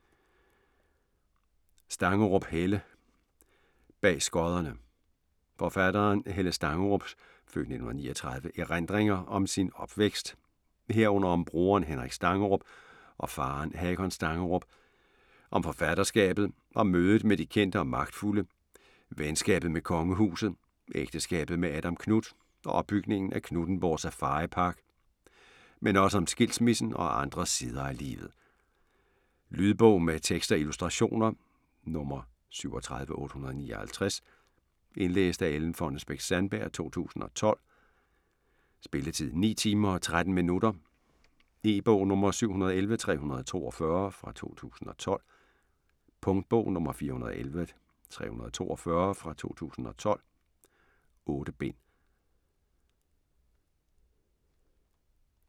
Stangerup, Helle: Bag skodderne Forfatteren Helle Stangerups (f. 1939) erindringer om sin opvækst, herunder om broren Henrik Stangerup og faren Hakon Stangerup, om forfatterskabet, om mødet med de kendte og magtfulde, venskabet med kongehuset, ægteskabet med Adam Knuth og opbygningen af Knuthenborg Safaripark, men også om skilsmissen og andre sider af livet. Lydbog med tekst og illustrationer 37859 Indlæst af Ellen Fonnesbech-Sandberg, 2012. Spilletid: 9 timer, 13 minutter. E-bog 711342 2012. Punktbog 411342 2012. 8 bind.